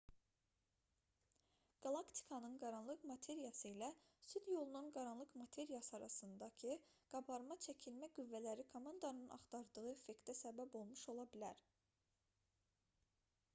qalaktikanın qaranlıq materiyası ilə süd yolunun qaranlıq materiyası arasındakı qabarma-çəkilmə qüvvələri komandanın axtardığı effektə səbəb olmuş ola bilər